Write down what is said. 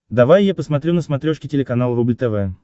давай я посмотрю на смотрешке телеканал рубль тв